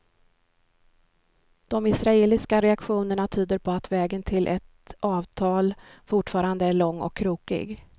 De israeliska reaktionerna tyder på att vägen till ett avtal fortfarande är lång och krokig.